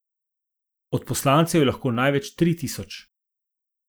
Odposlancev je lahko največ tri tisoč.